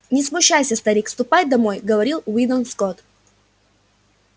не смущайся старик ступай домой говорил уидон скотт